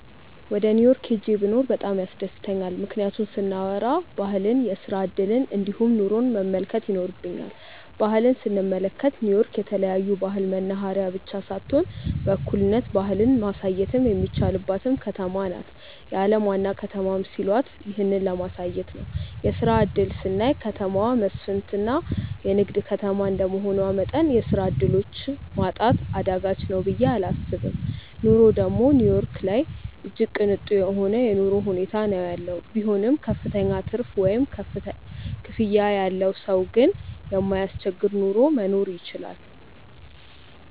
ወደ ኒው ዮርክ ሂጄ ብኖር እጅግ በጣም ያስደስተኛል። ምክንያቱን ስናዎራ ባህልን፣ የስራ እድልን እንዲሁም ኑሮን መመልከት ይኖርብኛል። ባህል ስንመለከት ኒው ዮርክ የተለያዮ ባህል መናህሬያ ብቻ ሳትሆን በእኩልነት ባህልን ማሳየትም የሚቻልባትም ከተማ ናት። የአለም ዋና ከተማም ሲሏት ይህንን ለማሳየት ነው። የስራ እድል ስናይ ከተማው መስፍትና የንግድ ከተማ እንደመሆኑ መጠን የስራ ዕድሎች ማጣት አዳጋች ነው ብየ እላስብም። ኑሮ ደግም ኒው ዮርክ ላይ እጅግ ቅንጡ የሆነ የኑሮ ሁኔታ ነው ያለው። ቢሆንም ክፍተኛ ትርፍ ወይም ክፍያ ያለው ሰው ግን የማያስቸግር ኑሮ መኖር ይችላል።